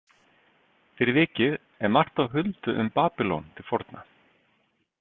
Fyrir vikið er margt á huldu um Babýlon til forna.